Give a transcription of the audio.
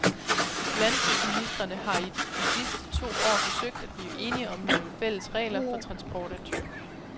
Landbrugsministrene har i de sidste to år forsøgt at blive enige om nogle fælles regler for transport af dyr.